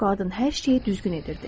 Qadın hər şeyi düzgün edirdi.